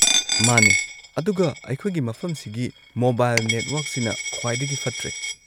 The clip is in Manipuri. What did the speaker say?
ꯃꯥꯅꯦ ꯑꯗꯨꯒ ꯑꯩꯈꯣꯢꯒꯤ ꯃꯐꯝꯁꯤꯒꯤ ꯃꯣꯕꯥꯏꯜ ꯅꯦꯠꯋꯔꯛꯁꯤꯅ ꯈ꯭ꯋꯥꯏꯗꯒꯤ ꯐꯠꯇ꯭ꯔꯦ꯫